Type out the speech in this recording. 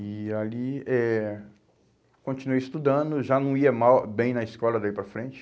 E ali, eh continuei estudando, já não ia mal, bem na escola daí para frente.